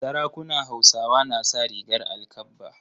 Sarakunan Hausawa na sa rigar alkabba.